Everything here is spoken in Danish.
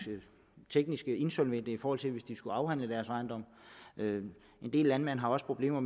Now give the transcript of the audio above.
teknisk insolvente i forhold til hvis de skulle afhænde deres ejendom en del landmænd har også problemer